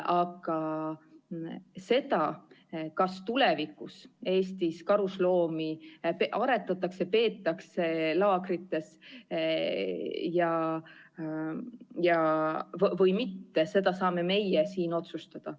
Aga seda, kas tulevikus Eestis karusloomi aretatakse, peetakse laagrites või mitte, seda saame meie siin otsustada.